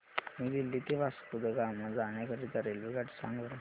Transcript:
new Delhi ते वास्को द गामा जाण्या करीता रेल्वेगाडी सांगा बरं